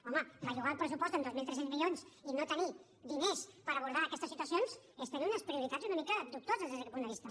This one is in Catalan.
home bellugar el pressupost en dos mil tres cents milions i no tenir diners per abordar aquestes situacions és tenir unes prioritats una mica dubtoses des d’aquest punt de vista